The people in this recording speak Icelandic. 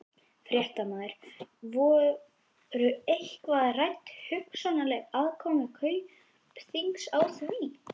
Fréttamaður: Voru eitthvað rædd hugsanleg aðkoma Kaupþings að því?